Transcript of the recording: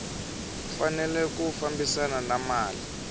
fanele ku fambisana na mali